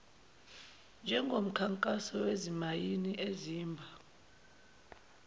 njengomkhankaso wezimayini ezimba